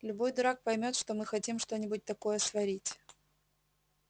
любой дурак поймёт что мы хотим что-нибудь такое сварить